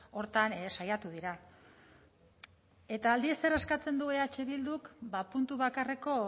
horretan saiatu dira eta aldiz zer eskatzen du eh bilduk ba puntu bakarreko